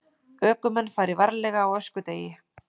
Ökumenn fari varlega á öskudegi